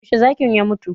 Yaushe zakin ya mutu?